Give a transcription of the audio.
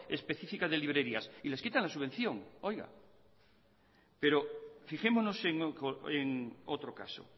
específicas de librerías y les quitan la subvención pero fijémonos en otro caso